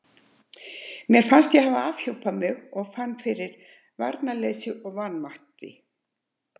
Mér fannst ég hafa afhjúpað mig og fann fyrir varnarleysi og vanmætti.